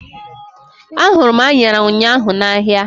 A hụrụ m anyara ụnyaahụ n'ahia